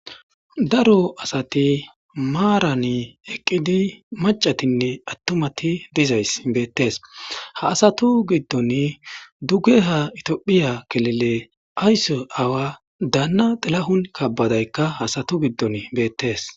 Daro asati marani eqidi macatinne atumatiti dizaysi beetesi,ha astatu gidoni dugeha ithiyophiya kilile ayso aawa Dana xilahun kebedeyka ha asatu gidoni beetesi.